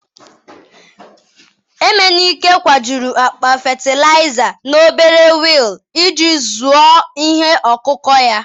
emenike, kwajuru akpa fatịlaịza n'obere wheel iji zụọ ihe ọkụkụ ya.